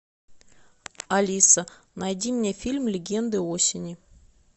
алиса найди мне фильм легенды осени